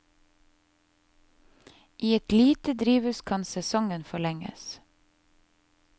I et lite drivhus kan sesongen forlenges.